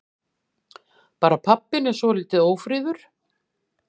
Bara pabbinn er svolítið ófríður.